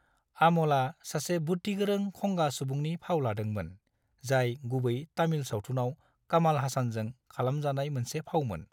आम'लआ सासे बुद्दिगोरों खंगा सुबुंनि फाव लादोंमोन, जाय गुबै तामिल सावथुनाव कमल हासानजों खालामजानाय मोनसे फावमोन।